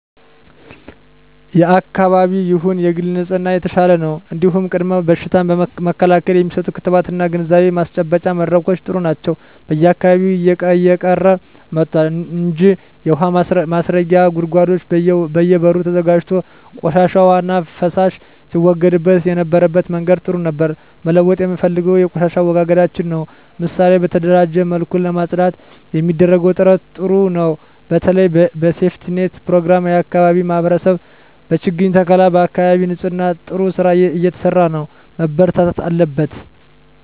የአካባቢ ይሁን የግል ንጽህና የተሻለ ነው እንዲሁም ቅድመ በሽታ መከላከል የሚሰጡ ክትባቶች እና ግንዛቤ ማስጨበጫ መድረኮች ጥሩ ናቸው በየአካባቢው እየቀረ መጥቷል እንጂ የውሀ ማስረጊያ ጉድጓዶች በየ በሩ ተዘጋጅቶ ቆሻሻ ዉሃና ፍሳሽ ሲወገድበት የነበረበት መንገድ ጥሩ ነበር መለወጥ የምፈልገው የቆሻሻ አወጋገዳችንን ነው ምሳሌ በተደራጀ መልኩ ለማፅዳት የሚደረገው ጥረት ጥሩ ነው በተለይ በሴፍትኔት ፕሮግራም የአካባቢ ማህበረሰብ በችግኝ ተከላ በአካባቢ ንፅህና ጥሩ ስራ እየተሰራ ነው መበርታት አለበት